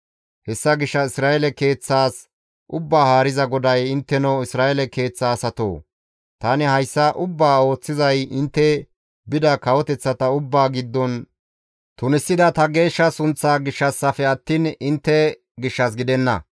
«Hessa gishshas Isra7eele keeththas Ubbaa Haariza GODAY, ‹Intteno Isra7eele keeththa asatoo! Tani hayssa ubbaa ooththizay intte bida kawoteththata ubbaa giddon tunisida ta geeshsha sunththaa gishshassafe attiin intte gishshas gidenna.